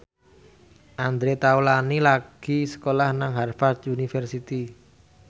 Andre Taulany lagi sekolah nang Harvard university